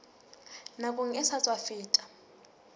nakong e sa tswa feta